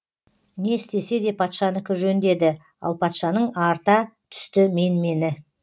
не істесе де патшанікі жөн деді ал патшаның арта түсті менмені